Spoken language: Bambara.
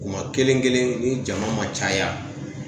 Kuma kelen kelen ni jama ma caya